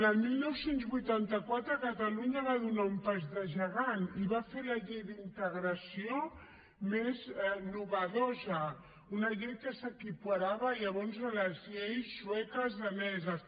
el dinou vuitanta quatre catalunya va fer un pas de gegant i va fer la llei d’integració més innovadora una llei que s’equiparava llavors a les lleis sueques i daneses